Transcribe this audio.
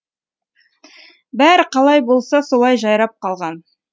бәрі қалай болса солай жайрап қалған